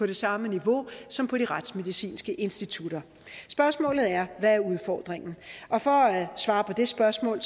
det samme niveau som på de retsmedicinske institutter spørgsmålet er hvad er udfordringen for at svare på det spørgsmål